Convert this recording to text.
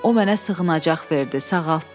O mənə sığınacaq verdi, sağaltdı.